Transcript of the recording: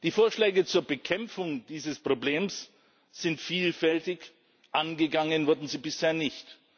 Die Vorschläge zur Bekämpfung dieses Problems sind vielfältig angegangen wurden sie bisher nicht.